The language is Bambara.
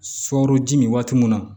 Sukaro ji min waati mun na